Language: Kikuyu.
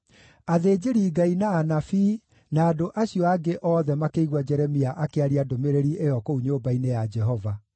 Athĩnjĩri-Ngai, na anabii, na andũ acio angĩ othe makĩigua Jeremia akĩaria ndũmĩrĩri ĩyo kũu nyũmba-inĩ ya Jehova.